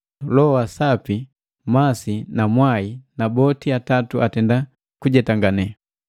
Loho wa Sapi, masi na mwai; na boti atatu atenda kujetangane.